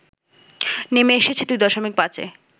নেমে এসেছে দুই দশমিক পাঁচে